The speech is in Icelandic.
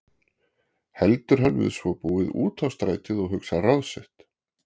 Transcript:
Heldur hann við svo búið út á strætið og hugsar ráð sitt.